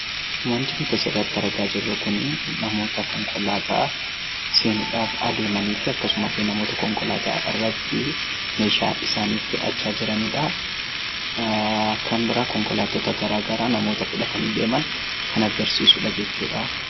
Wanti nuti as irratti argaa jirru Kun namoota Konkolaataa seenuuf adeemanii fi namoota konkolaataa irratti meeshaa isaanii fe'achaa jiranii dha. Akkasumas konkolaataa addaa addaa kan namoota fuudhanii deemaa jiran kan agarsiisuu dha.